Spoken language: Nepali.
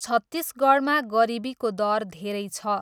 छत्तिसगढमा गरिबीको दर धेरै छ।